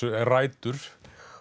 rætur